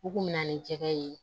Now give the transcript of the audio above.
U kun mi na ni jɛgɛ ye